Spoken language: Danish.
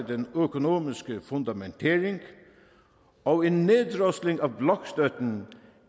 den økonomiske fundamentering og en neddrosling